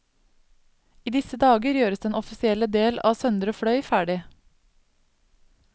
I disse dager gjøres den offisielle del av søndre fløy ferdig.